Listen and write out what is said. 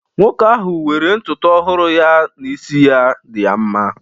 Nwoke ahu were ntutu ohuru ya na isi ya di ya mma.